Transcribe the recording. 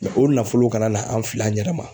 o nafolo kana na an fil'an yɛrɛ ma.